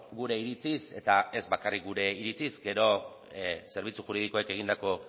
gure iritziz eta ez bakarrik gure iritziz gero zerbitzu juridikoek egindako